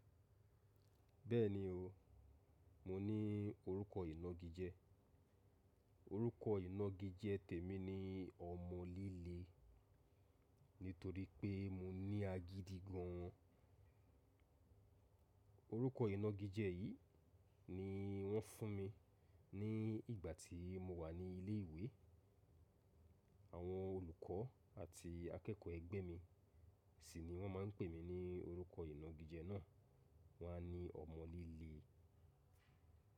Bẹ́ẹ̀ni o, mo ní orúkọ ìnagijẹ́. Orúkọ ìnagijẹ́ tèmi ni ọmọ líle, nítorí pé mo ní agídí gan an. Orúkọ ìnagijẹ́ yìí ni wọ́n fún mi ní ìgbà tí mo wà ní ilé ìwé. Àwọn olùkọ́ àti akẹ́kọ̀ọ́ ẹ̀gbẹ́ mi sì ni wọ́n máa ń pè mí ní orúkọ ìnagijẹ́ náà. Wọ́n á ní ọmọ líle.